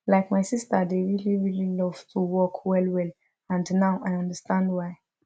like my sister dey really really love to walk well well and now i understand why